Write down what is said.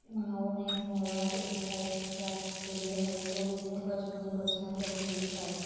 माघुण एक मुलगा येत आहे तेच्या हात ठेले हई तो बस मध्ये बसण्या साठी येत आहे.